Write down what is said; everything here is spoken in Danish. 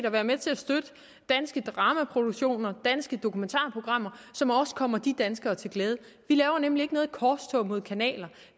at være med til at støtte danske dramaproduktioner danske dokumentarprogrammer som også kommer de danskere til glæde vi laver nemlig ikke noget korstog mod kanaler